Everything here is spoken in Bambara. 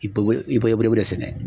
I be i be i b'o de sɛnɛ